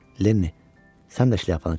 Lenni, sən də şlyapanı çıxart.